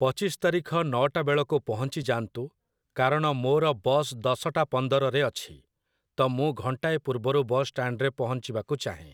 ପଚିଶ ତାରିଖ ନଅଟାବେଳକୁ ପହଞ୍ଚିଯାଆନ୍ତୁ, କାରଣ ମୋ'ର ବସ୍‌ ଦଶଟା ପନ୍ଦରରେ ଅଛି, ତ ମୁଁ ଘଣ୍ଟାଏ ପୂର୍ବରୁ ବସଷ୍ଟାଣ୍ଡରେ ପହଞ୍ଚିବାକୁ ଚାହେଁ।